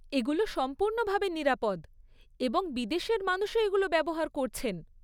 এগুলো সম্পূর্ণ ভাবে নিরাপদ এবং বিদেশের মানুষও এগুলো ব্যবহার করছেন।